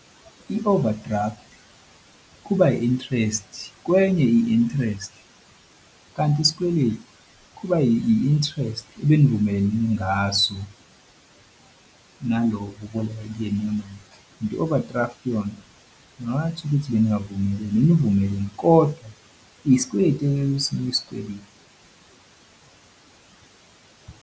I-overdraft kuba i-interest kwenye i-interest kanti isikweleti kuba yi-interest ebenivumelene ngaso nalowo obuboleka kuyena imali kanti i-overdraft yona ngingathi ukuthi beningavumelene, benivumelene kodwa isikweleti .